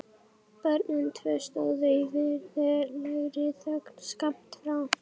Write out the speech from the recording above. Börnin tvö stóðu í virðulegri þögn skammt frá.